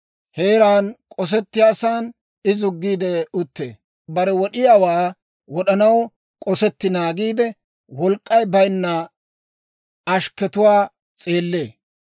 Heeraan k'osettiyaasan I zuggiide uttee. Bare wod'iyaawaa wod'anaw k'osetti naagiidde, wolk'k'ay bayinna ashkketuwaa s'eellee.